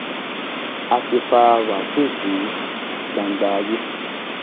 a ti fa wáṣíù sí gbangba ayé